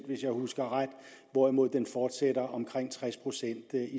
hvis jeg husker ret hvorimod den fortsætter på omkring tres procent i